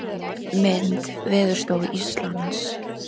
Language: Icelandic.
Mynd: Veðurstofa Íslands.